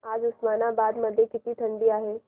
आज उस्मानाबाद मध्ये किती थंडी आहे